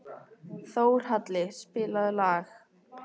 Þórhalli, spilaðu lag.